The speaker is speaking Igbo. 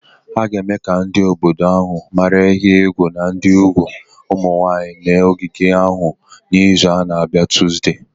A ga-eme ka ndị obodo ahụ mara ihe egwu dị n'igbu ụmụ nwanyị n'ogige ahụ n'izu na-abịa Tuzdee.